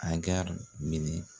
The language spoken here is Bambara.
Agari minɛ